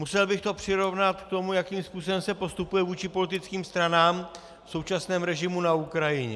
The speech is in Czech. Musel bych to přirovnat k tomu, jakým způsobem se postupuje vůči politickým stranám v současném režimu na Ukrajině.